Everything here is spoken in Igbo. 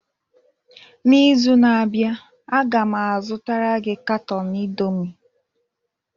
N'izu na-abịa, a ga m azụtara gị katọn indomi